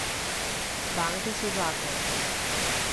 Banke so zakon.